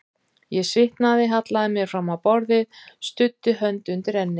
Ég svitnaði, hallaði mér fram á borðið, studdi hönd undir enni.